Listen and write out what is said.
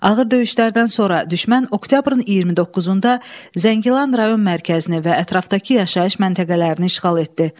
Ağır döyüşlərdən sonra düşmən oktyabrın 29-da Zəngilan rayon mərkəzini və ətrafdakı yaşayış məntəqələrini işğal etdi.